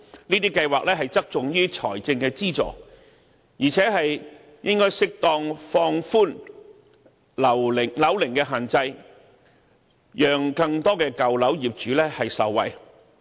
這些計劃側重於財政資助，應適當放寬樓齡限制，讓更多舊樓業主受惠。